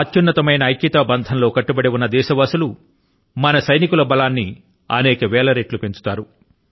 అత్యున్నతమైన ఏకత బంధం లో కట్టుబడి ఉన్న దేశవాసులు మన సైనికుల బలాన్ని అనేక వేల రెట్లు పెంచుతారు